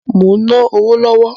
Mo ń ná owó lọ́wọ́